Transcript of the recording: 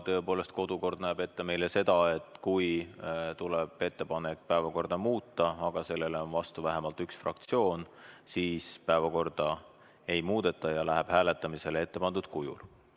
Tõepoolest, kodukord näeb ette meile seda, et kui tuleb ettepanek päevakorda muuta, aga sellele on vastu vähemalt üks fraktsioon, siis päevakorda ei muudeta ja läheb hääletamisele ettepandud kujul.